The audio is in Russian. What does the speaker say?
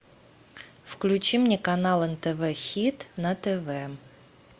включи мне канал нтв хит на тв